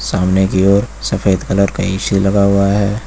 सामने की ओर सफेद कलर का ए_सी लगा हुआ है।